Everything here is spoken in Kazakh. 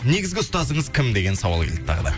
негізгі ұстазыңыз кім деген сауал келді тағы да